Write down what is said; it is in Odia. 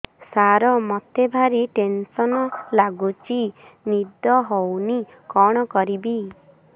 ସାର ମତେ ଭାରି ଟେନ୍ସନ୍ ଲାଗୁଚି ନିଦ ହଉନି କଣ କରିବି